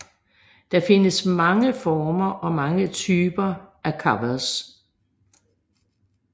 Der findes mange former og typer af covers